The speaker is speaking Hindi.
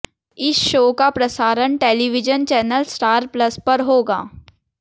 इस शो का प्रसारण टेलीविजन चैनल स्टार प्लस पर होगा